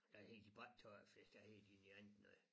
Der hed de bare ikke tørfisk der hed de noget andet noget